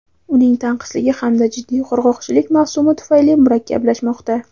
uning tanqisligi hamda jiddiy qurg‘oqchilik mavsumi tufayli murakkablashmoqda.